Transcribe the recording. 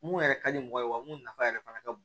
Mun yɛrɛ ka di mɔgɔ ye wa mun nafa yɛrɛ fana ka bon